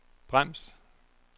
brems